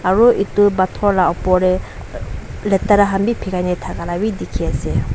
aru etu pathor lah upor teh letra khan bhi pilai na thaka la bhi dikhi ase.